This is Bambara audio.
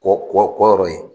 Kɔ kɔ kɔ yɔrɔ ye.